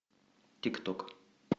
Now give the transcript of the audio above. тик ток